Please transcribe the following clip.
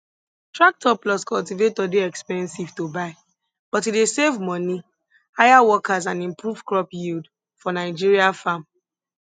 tractor plus cultivator dey expensive to buy but e dey save money hire workers and improve crop yield for nigeria farm